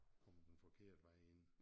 Kom den forkerte vej ind